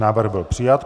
Návrh byl přijat.